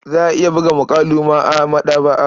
Za a iya buga muƙalu ma a maɗaba'a.